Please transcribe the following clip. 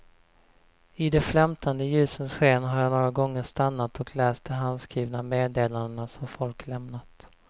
I de flämtande ljusens sken har jag några gånger stannat och läst de handskrivna meddelandena som folk lämnat.